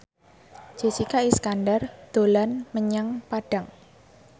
Jessica Iskandar dolan menyang Padang